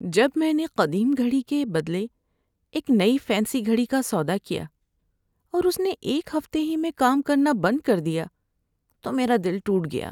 جب میں نے قدیم گھڑی کے بدلے ایک نئی فینسی گھڑی کا سودا کیا اور اس نے ایک ہفتے ہی میں کام کرنا بند کر دیا تو میرا دل ٹوٹ گیا۔